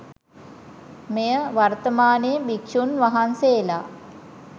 මෙය වර්තමානයේ භික්ෂූන් වහන්සේලා